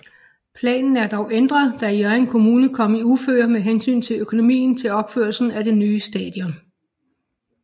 Planen er dog ændret da Hjørring Kommune kom i uføre med hensyn til økonomien til opførelsen af det nye stadion